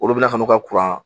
Olu bɛna kan'u ka